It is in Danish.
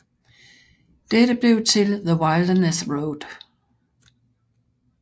Dette blev til The Wilderness Road